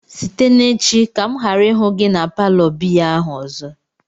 site n'echi ka m ghara ihu gi na palo biya ahu ozo!